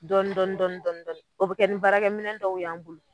Dɔni dɔni dɔni dɔni o be kɛ ni baarakɛminɛ dɔw y'an bolo